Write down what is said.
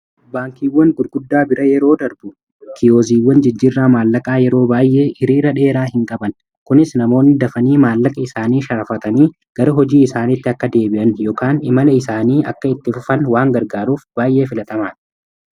Baankiiwwan gurguddaa bira yeroo darbu kiyoziiwwan jijjirraa maallaqaa yeroo baay'ee hiriira dheeraa hin qaban. Kunis namoonni dafanii maallaqa isaanii sharafatanii gara hojii isaaniitti akka deebi'an yookaan imala isaanii akka itti fufan waan gargaaruuf baay'ee filatamaadha.